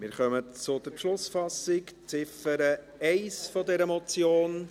Wir kommen zur Beschlussfassung zur Ziffer 1 dieser Motion.